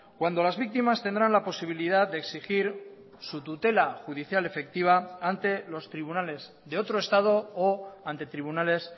cuando las víctimas tendrán la posibilidad de exigir su tutela judicial efectiva ante los tribunales de otro estado o ante tribunales